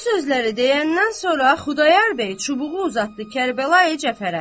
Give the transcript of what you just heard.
Bu sözləri deyəndən sonra Xudayar bəy çubuğu uzatdı Kərbəlayı Cəfərə.